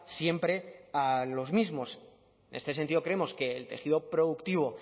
siempre a los mismos en este sentido creemos que el tejido productivo